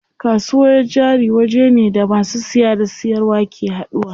Kasuwar jari wajene da masu siya da siyarwa ke haduwa.